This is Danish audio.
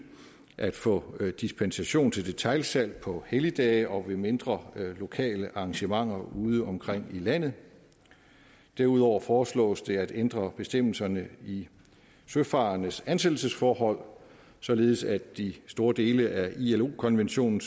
at få dispensation til detailsalg på helligdage og ved mindre lokale arrangementer udeomkring i landet derudover foreslås det at ændre bestemmelserne i søfarendes ansættelsesforhold således at de store dele af ilo konventionen